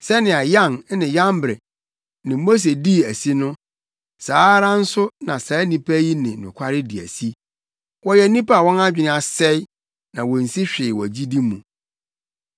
Sɛnea Yan ne Yambre ne Mose dii asi no, saa ara nso na saa nnipa yi ne nokware di asi. Wɔyɛ nnipa a wɔn adwene asɛe na wonsi hwee wɔ gyidi mu.